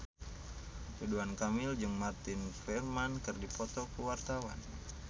Ridwan Kamil jeung Martin Freeman keur dipoto ku wartawan